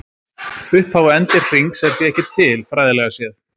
Upphaf og endir hrings er því ekki til, fræðilega séð.